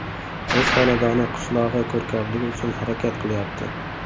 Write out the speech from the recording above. O‘z xonadoni, qishlog‘i ko‘rkamligi uchun harakat qilyapti.